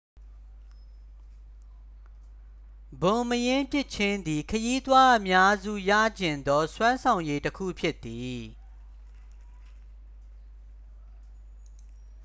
ဘွန်မရင်းပစ်ခြင်းသည် ခရီးသွားအများစု ရချင်သော စွမ်းဆောင်ရည်တစ်ခုဖြစ်သည်